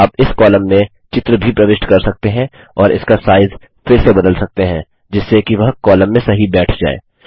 आप इस कॉलम में चित्र भी प्रविष्ट कर सकते हैं और उसका साइज फिर से बदल सकते हैं जिससे कि वह कॉलम में सही बैठ जाए